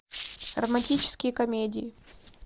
романтические комедии